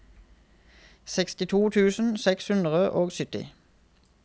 sekstito tusen seks hundre og sytti